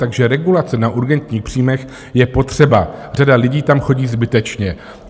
Takže regulace na urgentních příjmech je potřeba, řada lidí tam chodí zbytečně.